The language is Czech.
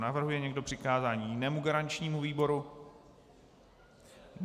Navrhuje někdo přikázání jinému garančnímu výboru?